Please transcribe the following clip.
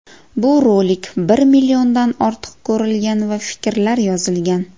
Bu rolik bir milliondan ortiq ko‘rilgan va fikrlar yozilgan.